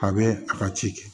A bɛ a ka ci kɛ